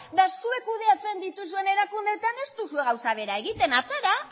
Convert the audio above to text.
eta zuek kudeatzen dituzuen erakundeetan ez duzue gauza bera egiten atera atera